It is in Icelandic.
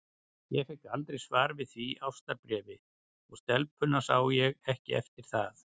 Ég fékk aldrei svar við því ástarbréfi, og stelpuna sá ég ekki eftir það.